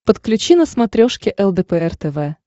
подключи на смотрешке лдпр тв